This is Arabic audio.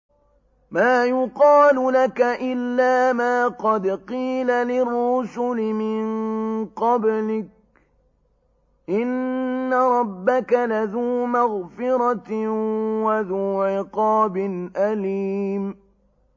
مَّا يُقَالُ لَكَ إِلَّا مَا قَدْ قِيلَ لِلرُّسُلِ مِن قَبْلِكَ ۚ إِنَّ رَبَّكَ لَذُو مَغْفِرَةٍ وَذُو عِقَابٍ أَلِيمٍ